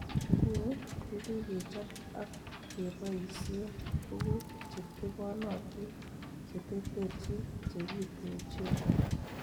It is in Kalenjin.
Nguni, kokikechob ak kebosien tuguk chetebonotin cheterterchin chekituchen